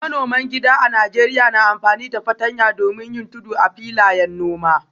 Manoman gida a Najeriya na amfani da fartanya domin yin tudu a filayen noma.